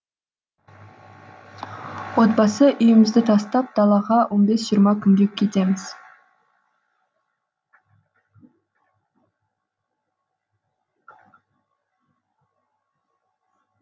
отбасы үйімізді тастап далаға он бес жиырма күнге кетеміз